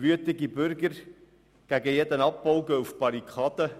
Wütende Bürger, die gegen jeden Abbau sind, gehen auf die Barrikaden.